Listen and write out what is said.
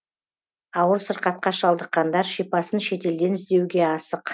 ауыр сырқатқа шалдыққандар шипасын шетелден іздеуге асық